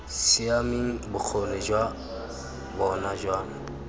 siameng bokgoni jwa bona jwa